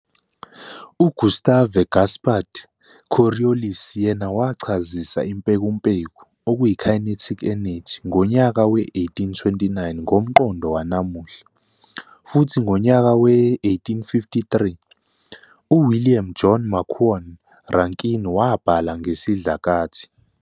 U-Gustave-Gaspard Coriolis yena wachazisa impekumpeku "kinetic energy" ngonyaka we-1829 ngomqondo wanamuhla, futhi ngonyaka we-1853, uWilliam John Macquorn Rankine wabhala ngesidlakathi'.